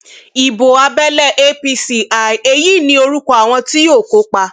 ibo abẹlé apc l èyí ní orúkọ àwọn tí yóò kópa